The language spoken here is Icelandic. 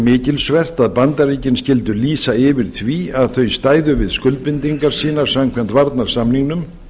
mikilsvert að bandaríkin skyldu lýsa yfir því að þau stæðu við skuldbindingar sínar samkvæmt varnarsamningnum